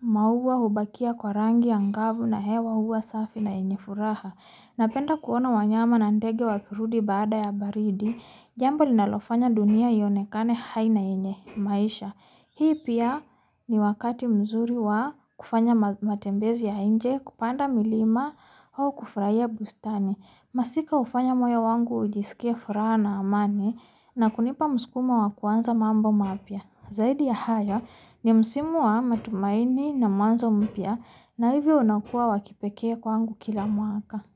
mauwa ubakia kwa rangi angavu na hewa huwa safi na yenye furaha. Napenda kuona wanyama na na ndege wakirudi baada ya baridi. Jambo lina lofanya dunia iyonekane hai na enye maisha. Hii pia ni wakati mzuri wa kufanya matembezi ya inje, kupanda milima hau kufraya bustani. Masika ufanya moyo wangu ujiisukie fura na amani na kunipa muskumo wa kuwanza mambo maapia. Zaidi ya haya ni msimu wa matumaini na mwanzo mpia na hivo wanaukua wakipekee kwangu kila muaka.